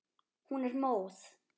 Hún er móð.